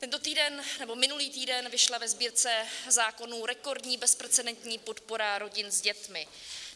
Tento týden nebo minulý týden vyšla ve Sbírce zákonů rekordní bezprecedentní podpora rodin s dětmi.